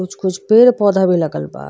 कुछ कुछ पेड़ पौधा भी लगल बा।